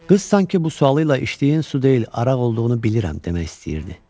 Qız sanki bu sualıyla içdiyin su deyil, araq olduğunu bilirəm demək istəyirdi.